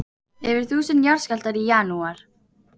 Yfir þúsund jarðskjálftar í janúar